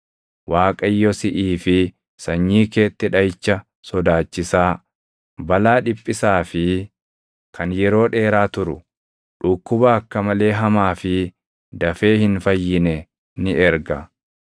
Waaqayyo siʼii fi sanyii keetti dhaʼicha sodaachisaa, balaa dhiphisaa fi kan yeroo dheeraa turu, dhukkuba akka malee hamaa fi dafee hin fayyine ni erga.